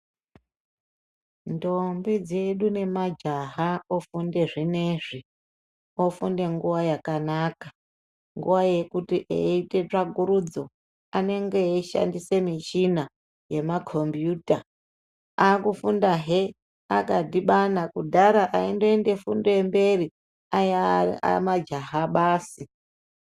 Ntombi dzedu nemajaha ofunde zvinezvi ofunde nguwa yakanaka nguwa yekuti eiita tsvakurudzo anenge eishandise michina yamakombiyuta akufundahe akadhibana kudhara aindoenda fundo yemberi aiaya majaha basi.